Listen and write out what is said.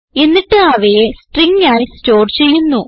എന്നിട്ട് അവയെ സ്ട്രിംഗ് ആയി സ്റ്റോർ ചെയ്യുന്നു